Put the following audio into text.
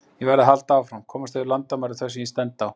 Ég verð að halda áfram, komast yfir landamæri þau sem ég stend á.